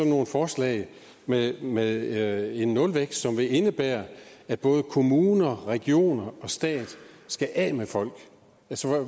nogle forslag med med en nulvækst som vil indebære at både kommuner regioner og stat skal af med folk